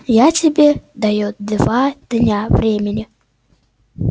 я тебе даю два дня времени